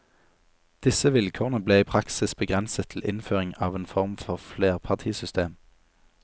Disse vilkårene ble i praksis begrenset til innføring av en form for flerpartisystem.